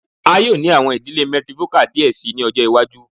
A yoo ni awọn idile matrifocal diẹ sii ni ọjọ iwaju